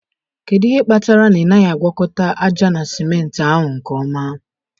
Kedu ihe kpatara na ị naghị agwakọta ájá na simenti ahụ nke ọma?